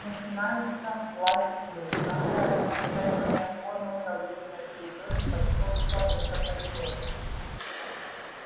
начинается власть тьмы самая распространённая форма правления на территории московского метрополитена